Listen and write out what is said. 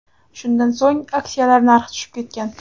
Shundan so‘ng, aksiyalar narxi tushib ketgan .